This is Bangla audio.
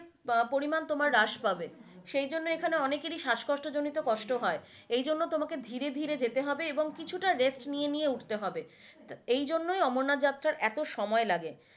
পরিমান তোমার রাষ্ পাবে সেই জন্য এখানে অনেকই শ্বাসকষ্ট জনিত কষ্ট হয় এই জন্য তোমাকে ধীরে ধীরে যেতে হবে এবং কিছুটা rest নিয়ে নিয়ে উঠতে হবে এই জন্য আমেনাথ যাত্ৰা এত সময় লাগে।